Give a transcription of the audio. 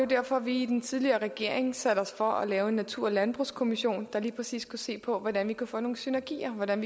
derfor vi i den tidligere regering satte os for at lave en natur og landbrugskommission der lige præcis skulle se på hvordan man kunne få nogle synergier hvordan